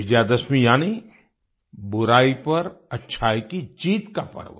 विजय दशमी यानी बुराई पर अच्छाई की जीत का पर्व